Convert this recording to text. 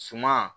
Suma